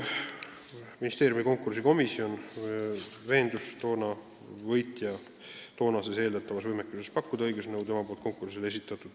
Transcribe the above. Ministeeriumi konkursikomisjon veendus võitja eeldatavas võimekuses pakkuda õigusnõu taotluse alusel, mis ta konkursile esitas.